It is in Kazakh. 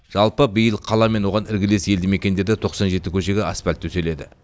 жалпы биыл қала мен оған іргелес елді мекендерде тоқсан жеті көшеге асфальт төселеді